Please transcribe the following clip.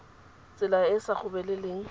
tsela e e sa gobeleleng